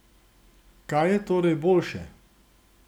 Kaj je torej boljše?